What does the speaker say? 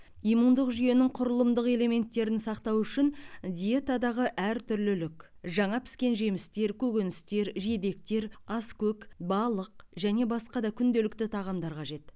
иммундық жүйенің құрылымдық элементтерін сақтау үшін диетадағы әртүрлілік жаңа піскен жемістер көкөністер жидектер аскөк балық және басқа да күнделікті тағамдар қажет